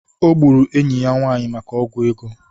O gburu enyi ya nwanyị maka ọgwụ ego.